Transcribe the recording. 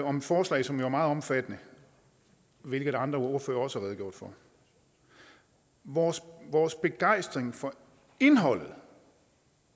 om forslag som jo er meget omfattende hvilket andre ordførere også har redegjort for vores vores begejstring for indholdet